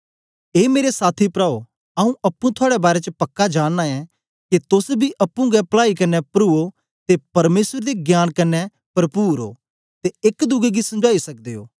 ए मेरे साथी प्राओ आऊँ अप्पुं थुआड़े बारै च पक्का जाननां ऐ के तोस बी अप्पुं गै पलाई कन्ने परुओ ते परमेसर दे ज्ञान कन्ने परपुर ओ ते एक दुए गी समझाई सकदे ओ